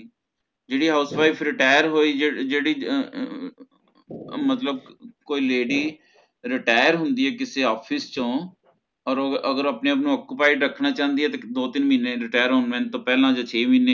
ਜੇਹੜੀ house wife retire ਹੋਯੀ ਜੇਹੜੀ ਅਹ ਅਹ ਮਤਲਬ ਕੋਈ lady retire ਹੋਂਦੀ ਹੈ office ਚੋ ਅਗਰ ਉਹ ਆਪਣੇ ਆਪ ਨੂ occupied ਰਖਣਾ ਚੰਦੀ ਹੈ ਦੋ ਤਿਨ ਮਹੀਨੇ Retirement ਪਹਲਾ ਯਾ ਛੇ ਮਹੀਨੇ